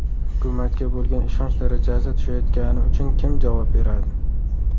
Hukumatga bo‘lgan ishonch darajasi tushayotgani uchun kim javob beradi?